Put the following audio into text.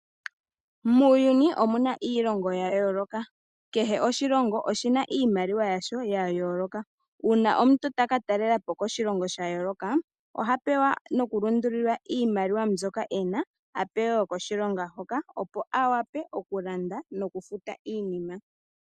Muuyuni omuna iilongo yayooloka. Kehe oshilongo oshina iimaliwa yasho yayooloka. Uuna omuntu taka taalelapo koshilongo shayooloka oha taambathana nenge tapingakanitha iimaliwa yoshilongo shaandjawo niimaliwa yoshilongo shoka tayi. Shika ohashi mu ningile oshipu okukalanda iilandithomwa koshilongo shoka.